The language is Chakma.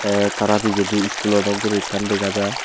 te tarapejedy iskulo dok guri ekkan dega jai.